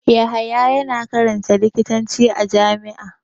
Yahaya yana karanta likitanci a jami'a.